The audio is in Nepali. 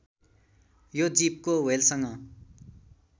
यो जीवको ह्वेलसँग